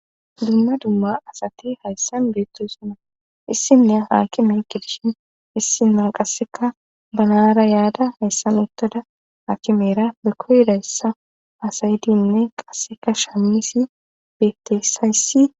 dumma dumma asati hayssan beettoysuna issiniya haakime gidishin issima qasseka banaara yaada hayssan ottada hakimera be koydayssa asayidinne qasseka shamisi bettesayssi